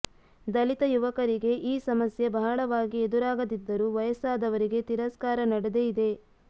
ದಲಿತ ಯುವಕರಿಗೆ ಈ ಸಮಸ್ಯೆ ಬಹಳವಾಗಿ ಎದುರಾಗದಿದ್ದರು ವಯಸ್ಸಾದವರಿಗೆ ತಿರಸ್ಕಾರ ನಡೆದೇ ಇದೆ